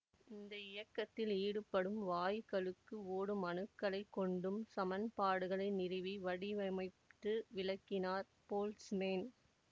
இந்த இயக்கத்தில் ஈடுபடும் வாயுக்களுக்கு ஓடும் அணுக்களைக் கொண்டும் சமன்பாடுகளை நிறுவி வடிவமைத்து விளக்கினார் போல்ட்ஸ்மேன்